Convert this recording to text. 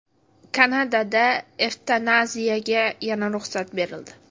Kanadada evtanaziyaga yana ruxsat berildi.